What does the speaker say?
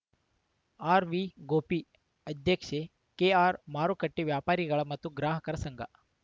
ಆರ್‌ವಿಗೋಪಿ ಅಧ್ಯಕ್ಷೆ ಕೆಆರ್‌ಮಾರುಕಟ್ಟೆವ್ಯಾಪಾರಿಗಳ ಮತ್ತು ಗ್ರಾಹಕರ ಸಂಘ